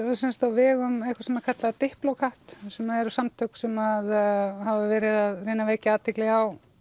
á vegum einhvers sem er kallað sem eru samtök sem hafa verið að reyna að vekja athygli á